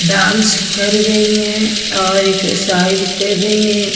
Dance कर रही हैं और एक्सरसाइज कर रही हैं।